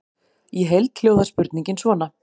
Í heild hljóðar spurningin svona: